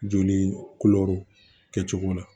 Joli kɛcogo la